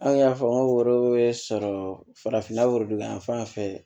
An y'a fɔ n ko sɔrɔ farafinna o don yan fan fɛ